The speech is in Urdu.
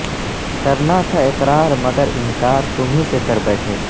کرنا تھا اقرار مگر انکار تمہیں سے کر بیٹھے